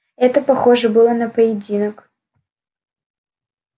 это похоже было на поединок